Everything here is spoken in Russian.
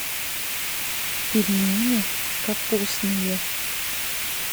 пельмени капустные